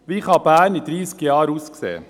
Wie kann Bern in 30 Jahren aussehen?